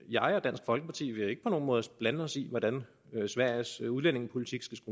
jeg og dansk folkeparti vil ikke på nogen måde blande os i hvordan sveriges udlændingepolitik